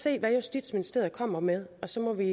se hvad justitsministeriet kommer med og så må vi